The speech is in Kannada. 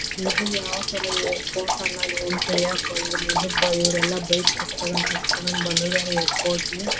ಇದು ಯಾವ್ ತರ ಇದೆ ಇವ್ರೆಲ್ಲಾ ಬೈಕ್ ಬಂದಿದ್ದಾರೆ ಏರ್ಪೋರ್ಟ್ಲಿ .--